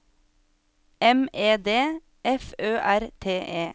M E D F Ø R T E